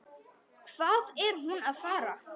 Hvað er hún að fara?